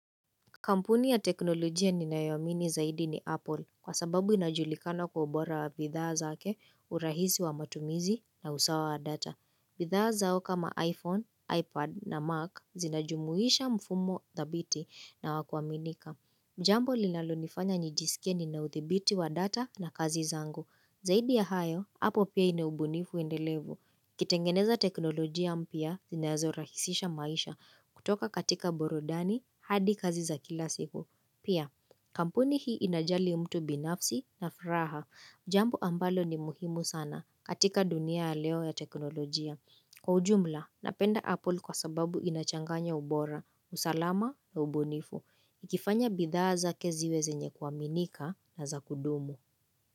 Kampuni ya teknolojia ninayo amini zaidi ni Apple kwa sababu inajulikana kwa ubora bidhaa zake, urahisi wa matumizi na usawa wa data. Bidhaa zao kama iPhone, iPad na Mac zinajumuisha mfumo thabiti na wa kuaaminika. Jambo linalo nifanya nijisikie nina uthibiti wa data na kazi zangu. Zaidi ya hayo, hapo pia ina ubunifu endelevu. Kitengeneza teknolojia mpia zinazo rahisisha maisha kutoka katika burudani hadi kazi za kila siku. Pia kampuni hii inajali mtu binafsi na furaha. Jambo ambalo ni muhimu sana katika dunia aleo ya teknolojia. Kwa ujumla napenda Apple kwa sababu inachanganya ubora, usalama na ubunifu. Ikifanya bidhaa zake ziwe zenye kuaminika na za kudumu.